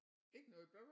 Ikke noget